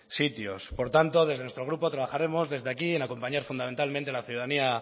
sitios por tanto desde nuestro grupo trabajaremos desde aquí en acompañar fundamentalmente la ciudadanía